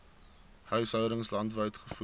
huishoudings landwyd gevoer